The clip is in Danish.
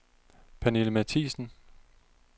Pernille Matthiesen